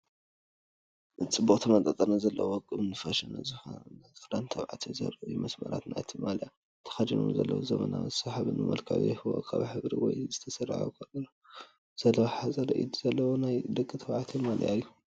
ጽቡቕ ተመጣጣኒ ዘለዎ፡ ውቁብን ፋሽን ዝኾነን ክዳን ደቂ ተባዕትዮ ዘርኢ እዩ። መስመራት ናይቲ ማልያ ነቲ ተኸዲንዎ ዘሎ ዘመናውን ሰሓብን መልክዕ ይህቦ። ካብ ሕብሪ ወይኒ ዝተሰርሐ ኮላር ዘለዎ ሓጺር ኢድ ዘለዎ ናይ ደቂ ተባዕትዮ ማልያ እዩ።